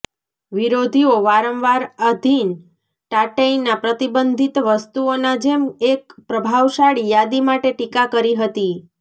વિરોધીઓ વારંવાર આધિન ટાટૈના પ્રતિબંધિત વસ્તુઓના જેમ એક પ્રભાવશાળી યાદી માટે ટીકા કરી હતી